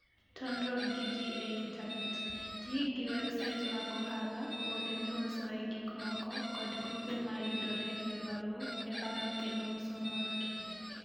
Tudruok gi ji e Intanet: Ti gi websait mag ohala, kuonde miusoe gik moko, kod grube ma yudore e alworau e lando kendo uso mor kich.